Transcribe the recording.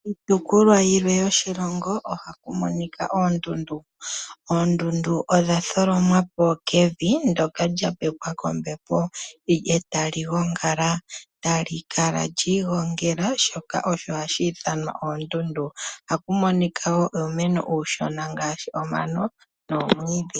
Oondundu odha tholomwa po kevi ndoka lya pepwa kombepo, e ta li gongala tali kala lyi igongela, shoka osho hashi ithanwa oondundu. Ohaku monika wo uumeno uushona ngaashi omano nomwiidhi.